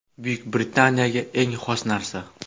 Buyuk Britaniyaga eng xos narsa.